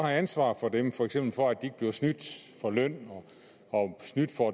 ansvar for dem for eksempel for at de ikke bliver snydt for løn og snydt for